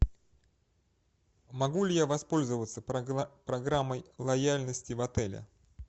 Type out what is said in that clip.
могу ли я воспользоваться программой лояльности в отеле